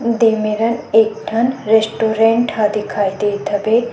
देमे र एक ठन रेस्टुरेंट ह दिखाई देत हवे।